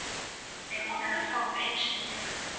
Svo kom Aðalsteinn í þennan hóp einu sinni í viku.